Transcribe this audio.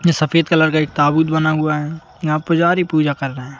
यह सफेद कलर का एक ताबूत बना हुआ है यहाँ पुजारी पूजा कर रहे हैं।